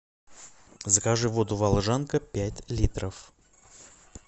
закажи воду волжанка пять литров